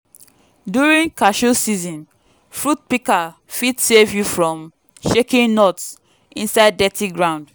during cashew season fruit pika fit save you from shaking nuts inside dirty ground.